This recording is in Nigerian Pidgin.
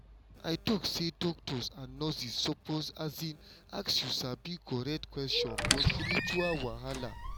i talk say doctors and nurses suppose ask you sabi correct questions for spiritual wahala.